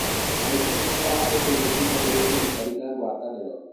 arĩmi nimendaga ũteithio kuma kũri thirikari na gũataniro